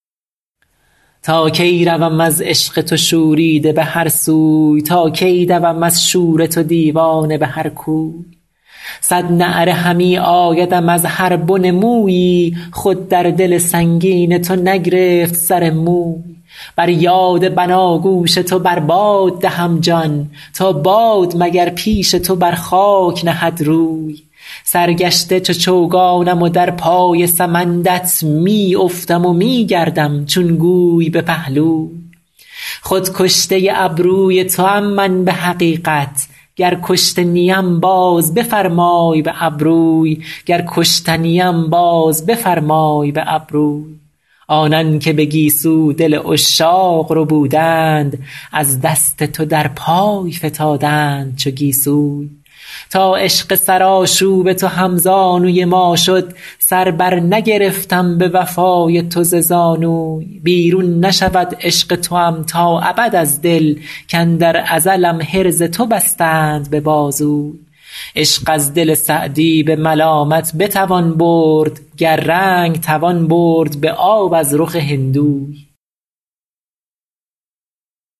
تا کی روم از عشق تو شوریده به هر سوی تا کی دوم از شور تو دیوانه به هر کوی صد نعره همی آیدم از هر بن مویی خود در دل سنگین تو نگرفت سر موی بر یاد بناگوش تو بر باد دهم جان تا باد مگر پیش تو بر خاک نهد روی سرگشته چو چوگانم و در پای سمندت می افتم و می گردم چون گوی به پهلوی خود کشته ابروی توام من به حقیقت گر کشته نیم باز بفرمای به ابروی آنان که به گیسو دل عشاق ربودند از دست تو در پای فتادند چو گیسوی تا عشق سرآشوب تو هم زانوی ما شد سر بر نگرفتم به وفای تو ز زانوی بیرون نشود عشق توام تا ابد از دل کاندر ازلم حرز تو بستند به بازوی عشق از دل سعدی به ملامت بتوان برد گر رنگ توان برد به آب از رخ هندوی